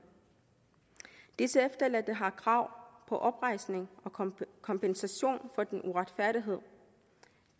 disse efterladte har krav på oprejsning og kompensation for den uretfærdighed